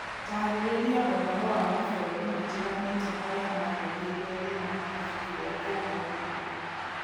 Taarĩria ũhoro wa mabũrũri matiganĩte marĩa marĩrĩirio thĩinĩ wa ibuku rĩa Kũguũrĩrio